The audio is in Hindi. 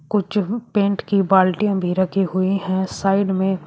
कुछ पेंट की बाल्टियां भी रखी हुए हैं साइड में।